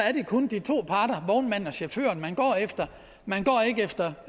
er det kun de to parter vognmanden og chaufføren man går efter man går ikke efter